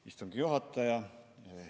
Hea istungi juhataja!